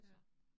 Ja